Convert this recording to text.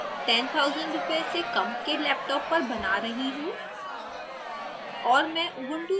मैं यह tutorial 10000 rupee से कम के laptop पर बना रही हूँ